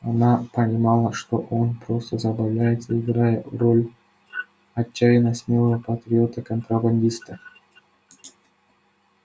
она понимала что он просто забавляется играя роль отчаянно смелого патриота-контрабандиста